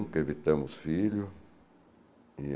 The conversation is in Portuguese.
Nunca evitamos filho. E